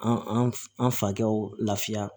An an fakɛw lafiya